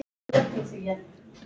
Ekkert hefði gerst.